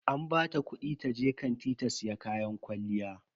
An bata kudi taje kanti ta siya kayan kwalliya.